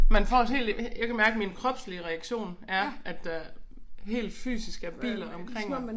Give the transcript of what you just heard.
Man får helt øh jeg kan mærke min kropslige reaktion er at der helt fysisk er biler omkring mig